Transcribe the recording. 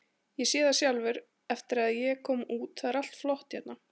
Ég sé það sjálfur eftir að ég kom út, það er allt flott hérna.